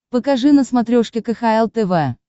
покажи на смотрешке кхл тв